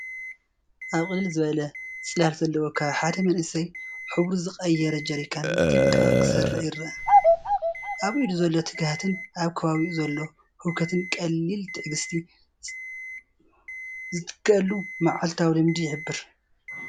"ኣብ ቅልል ዝበለ ጽላል ዘለዎ ከባቢሓደ መንእሰይ ሕብሩ ዝቐየረ ጀሪካን ብጥንቃቐ ክሰርዕ ይረአ። ኣብ ኢዱ ዘሎ ትግሃትን ኣብ ከባቢኡ ዘሎ ህውከትን ቀሊል ትዕግስቲ ዝትክኣሉ መዓልታዊ ልምዲ ይሕብር።"